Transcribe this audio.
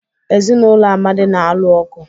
Ezinụlọ Amadi na-alụ ọgụ.